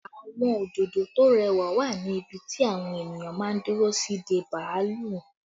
Àwọn òdòdó tó rẹwà wà ní ibi tí àwọn ènìyàn máa ń dúró sí dé bàálù